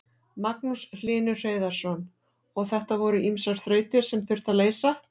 Magnús Hlynur Hreiðarsson: Og þetta voru ýmsar þrautir sem þurfti að leysa?